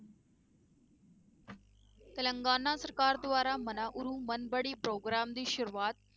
ਤਿਲੰਗਾਨਾ ਸਰਕਾਰ ਦੁਆਰਾ ਮਨਾਊੜੂ ਮਨਬੜੀ ਪ੍ਰੋਗਰਾਮ ਦੀ ਸ਼ੁਰੂਆਤ